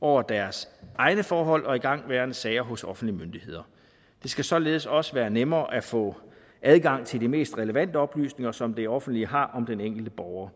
over deres egne forhold og igangværende sager hos offentlige myndigheder det skal således også være nemmere at få adgang til de mest relevante oplysninger som det offentlige har om den enkelte borger